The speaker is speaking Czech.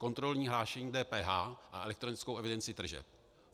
Kontrolní hlášení DPH a elektronickou evidenci tržeb.